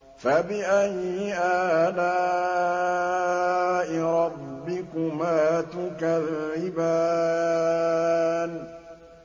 فَبِأَيِّ آلَاءِ رَبِّكُمَا تُكَذِّبَانِ